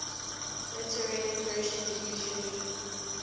literary persian usually